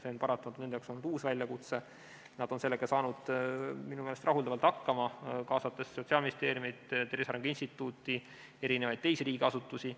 See on paratamatult olnud nende jaoks uus väljakutse ja nad on sellega saanud minu meelest rahuldavalt hakkama, kaasates Sotsiaalministeeriumi, Tervise Arengu Instituudi, teised riigiasutused.